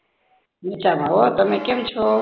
મજામાં હો તમે કેમ છો